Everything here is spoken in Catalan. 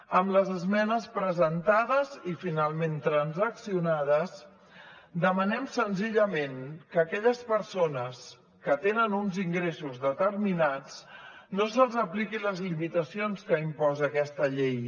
amb les esmenes presentades i finalment transaccionades demanem senzillament que a aquelles persones que tenen uns ingressos determinats no se’ls apliquin les limitacions que imposa aquesta llei